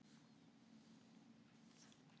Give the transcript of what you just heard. Þá mætast Vængir Júpíters og Víðir úr Garði.